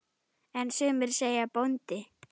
En sumir segja bóndi.